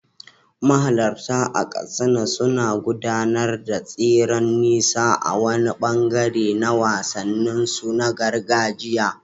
Mahalarta a Katsina suna gudanar da tseren nisa a wani ɓangare na wasanninsu na gargajiya.